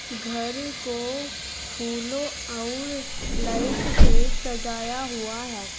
घर को फूलों और लाइट से सजाया हुआ है।